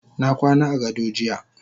Nakwana agado jiya.